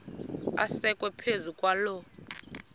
asekwe phezu kwaloo